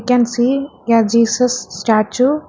We can see a Jesus statue.